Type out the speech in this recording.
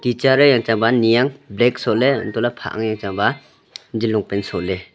teacher e yang chang ba ni ang black soh ley entoh ley phah ang yang chang ba jean long pant soh ley.